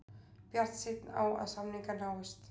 Bjartsýnn á að samningar náist